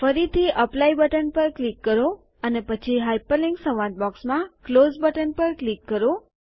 ફરીથી apply button પર click કરો અને પછી હાઇપરલિન્ક સંવાદ બૉક્સમાં ક્લોઝ બટન પર ક્લિક કરો